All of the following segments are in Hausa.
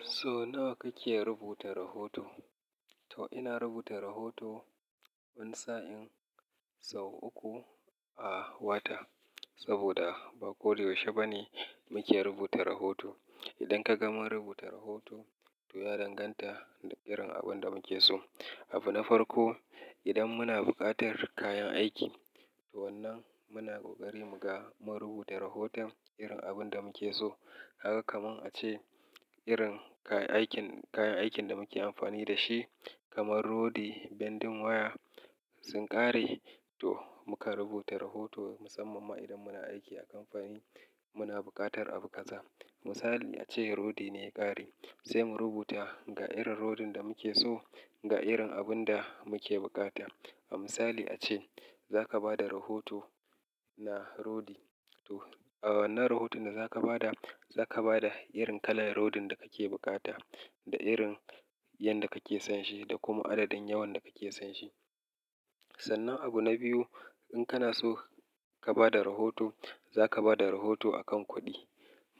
So nawa kake rubuta rahoto? To ina rubuta rahoto wani sa'in sau uku a wata saboda ba ko da yaushe bane muke rubuta rahoto. Idan ka gama rubuta rahoto to ya danganta da irin abin da muke so. Abu na farko, idan muna buƙatar kayan aiki to wannan muna ƙoƙari mu ga mu rubuta rahoton irin abin da muke so. Haka kamar a ce irin kayan aikin, kayan aikin da muke amfani da shi kamar rodi, bendin waya sun ƙare to muka rubuta rahoto. Musamman ma idan muna aiki a kamfani muna buƙatar abu ƙasa. Misali a ce rodi ne ya ƙare sai mu rubuta ga irin rodin da muke so, ga irin abun da muke bukata. A misali a ce za ka ba da rahoto na rodi to a wannan rahoton da za ka ba da, za ka ba da irin kalar rodin da kake bukata da irin yanda kake son shi da kuma adadin yawan da kake son shi. Sannan abu na biyu, in kana so ka ba da rahoto za ka ba da rahoto a kan kuɗi.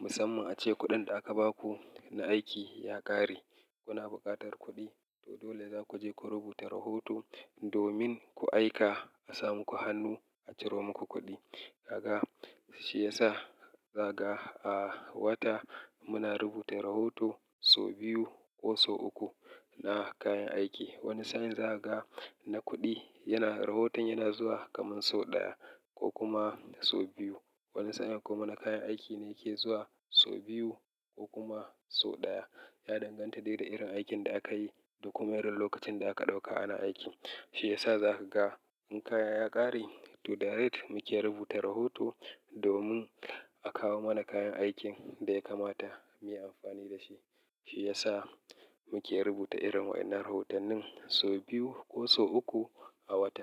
Musamman a ce kuɗin da aka ba ku na aiki ya ƙare kuna buƙatar kuɗi to dole za ku je ku rubuta rahoto domin ku aika a samu ku hannu a ciro muku kuɗi. Kaga shi yasa zaga a wata muna rubuta rahoto sau biyu ko sau uku na kayan aiki. Wani sa'in zakaga na kuɗi yana rahoton yana zuwa kaman sau ɗaya ko kuma sau biyu. Wani sa'in kuma na kayan aiki ne yake zuwa sau biyu ko kuma sau ɗaya. Ya danganta da irin aikin da aka yi da kuma irin lokacin da aka ɗauka ana aiki. Shi ya sa za ka ga in kaya ya ƙare to direct muke rubuta rahoto domin a kawo mana kayan aikin da ya kamata mu yi amfani da shi. Shi ya sa muke rubuta irin wannan rahotonin sau biyu ko sau uku a wata.